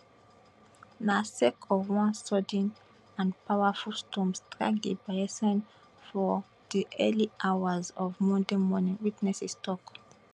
na sake of one sudden and powerful storm strike di bayesian for di early hours of monday morning witnesses tok